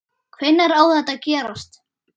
Hvenær á þetta að gerast?